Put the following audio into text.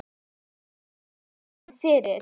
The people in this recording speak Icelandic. Hefur aldrei séð hann fyrr.